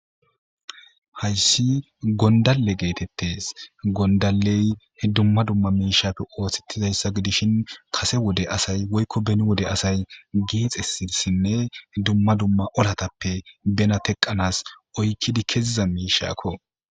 Hayis gondalle getetes gondalley dumma dumma mishatu osetizayisa gidishe kase wode asay woyikko beni wode asay gexesinne dumma dumma olatappe bena teqanasi oyikizi keiza mishakko.